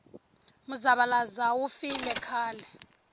muzavalazo wu file khale